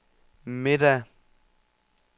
middag